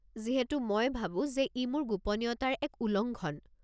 যিহেতু মই ভাবো যে ই মোৰ গোপনীয়তাৰ এক উলংঘন।